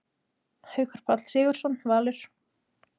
Haukur Páll Sigurðsson, Valur